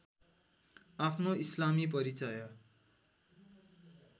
आफ्नो इस्लामी परिचय